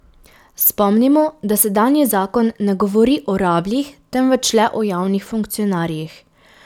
Spomnimo, da sedanji zakon ne govori o rabljih, temveč le o javnih funkcionarjih.